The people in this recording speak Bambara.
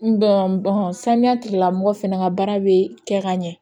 saniya tigilamɔgɔ fɛnɛ ka baara bɛ kɛ ka ɲɛ